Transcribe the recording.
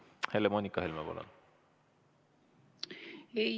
Helle-Moonika Helme, palun!